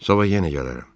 Sabah yenə gələrəm.